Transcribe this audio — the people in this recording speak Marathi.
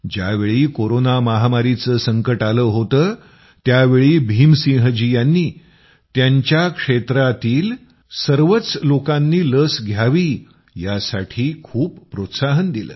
ज्यावेळी कोरोना महामारीचं संकट आलं होतं त्यावेळी भीम सिंहजी यांनी त्यांच्या क्षेत्रांतील सर्व लोकांनी लस घ्यावी यासाठी खूप प्रोत्साहन दिलं